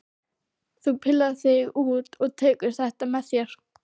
Þú pillar þig út og tekur þetta með þér!